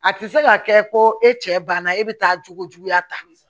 A tɛ se ka kɛ ko e cɛ banna e bɛ taa jogo juguya tan